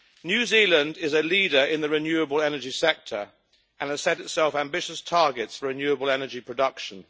New Zealand is a leader in the renewable energy sector and has set itself ambitious targets for renewable energy production.